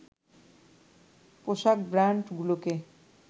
পোশাক ব্রান্ডগুলোকে